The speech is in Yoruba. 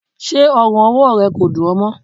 Ṣé ọrùn-ọwọ rẹ kò dún ọ mọ?